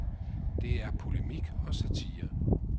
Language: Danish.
Det er polemik og satire.